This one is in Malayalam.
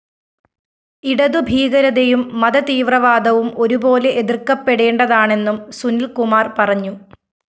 ഇടതു ഭീകരതയും മതതീവ്രവാദവും ഒരുപോലെ എതിര്‍ക്കപ്പെടേണ്ടതാണെന്നും സുനില്‍കുമാര്‍ പറഞ്ഞു